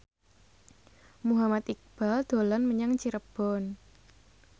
Muhammad Iqbal dolan menyang Cirebon